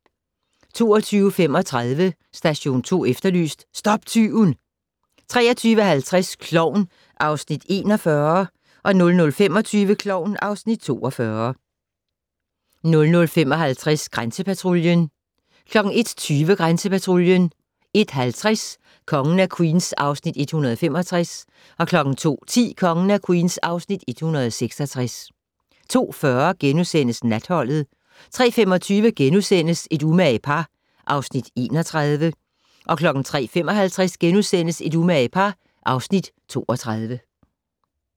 22:35: Station 2 Efterlyst - stop tyven 23:50: Klovn (Afs. 41) 00:25: Klovn (Afs. 42) 00:55: Grænsepatruljen 01:20: Grænsepatruljen 01:50: Kongen af Queens (Afs. 165) 02:10: Kongen af Queens (Afs. 166) 02:40: Natholdet * 03:25: Et umage par (Afs. 31)* 03:55: Et umage par (Afs. 32)*